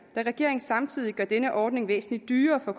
da regeringen samtidig gør denne ordning væsentlig dyrere for